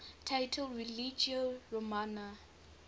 title religio romana